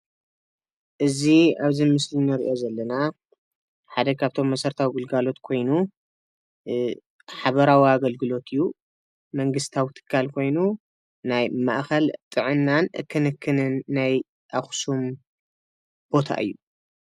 እዚ ኣብዚ ምስሊ ንሪኦ ዘለና ሓደ ካብቶም መሰረታዊ ግልጋሎት ኮይኑ ሓበራዊ ኣገልግሎት ዝህብ መንግስታዊ ትካል ኮይኑ ናይ ማእኸል ጥዕናን ክንክንን ናይ ኣኽሱም ቦታ እዩ፡፡